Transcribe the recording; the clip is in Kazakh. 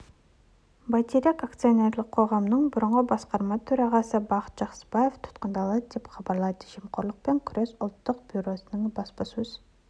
байтерек акционерлік қоғамының бұрынғы басқарма төрағасы бақыт жақсыбаев тұтқындалы деп хабарлайды жемқорлықпен күрес ұлттық бюросының баспасөз